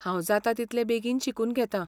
हांव जाता तितलें बेगीन शिकून घेतां.